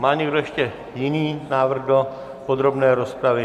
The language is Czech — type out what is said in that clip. Má někdo ještě jiný návrh do podrobné rozpravy?